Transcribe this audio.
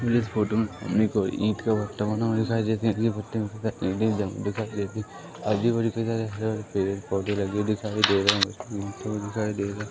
मुझे इस फोटो में कोई ईट का भट्टा बना हुआ दिखाई देते है ये भट्टे में दिखाई आजू-बाजू कई सारे पेड़-पौधे लगे हुए दिखाई दे रहे है है।